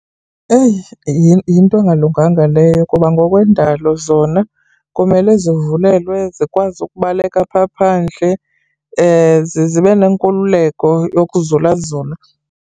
Eyi yinto engalunganga leyo kuba ngokwendalo zona kumele zivulelwe, zikwazi ukubaleka phaa phandle ze zibe nenkululeko yokuzulazula.